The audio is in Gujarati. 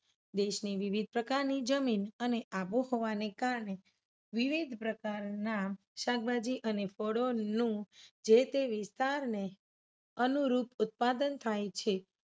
દેશની વિવિધ પ્રકારની જમીન અને આબોહવાને કારણે વિવિધ પ્રકારના શાકભાજી અને ફળોનું જે તે વિસ્તારને અનુરૂપ ઉત્પાદન થાય છે.